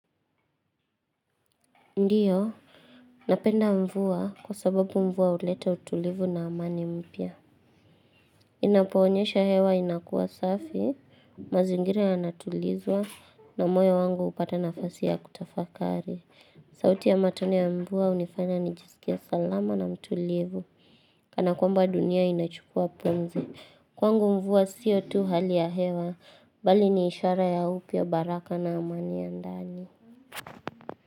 Ndiyo, napenda mvua kwa sababu mvua uleta utulivu na amani mpya. Inapoonyesha hewa inakuwa safi, mazingira ya natulizwa na moyo wangu unapata nafasi ya kutafakari. Sauti ya matone ya mvua hunifanya ni jisikie salama na mtulivu. Kana kwamba dunia inachukua pumzi. Kwangu mvua siyo tu hali ya hewa, bali ni ishara ya upya baraka na amani ya ndani.